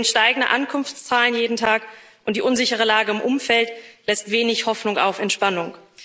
Wir sehen steigende Ankunftszahlen jeden Tag, und die unsichere Lage im Umfeld lässt wenig Hoffnung auf Entspannung.